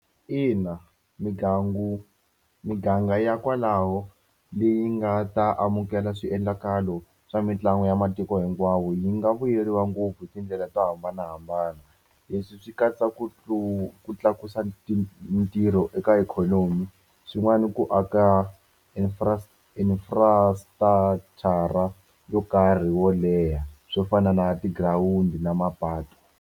Ina migangu mi miganga ya kwalaho leyi nga ta amukela swiendlakalo swa mitlangu ya matiko hinkwawo yi nga vuyeriwa ngopfu hi tindlela to hambanahambana leswi swi katsa ku ku tlakusa ntirho eka ikhonomi swin'wana i ku aka infrastructure yo karhi wo leha swo fana na tigirawundi na mapatu.